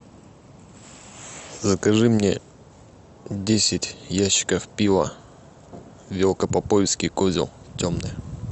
закажи мне десять ящиков пива велкопоповицкий козел темное